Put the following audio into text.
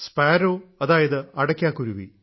sparrow അതായത് അടയ്ക്കാ കുരുവി